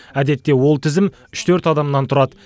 әдетте ол тізім үш төрт адамнан тұрады